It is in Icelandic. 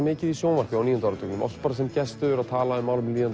mikið í sjónvarpi á níunda áratugnum sem gestur að tala um málefni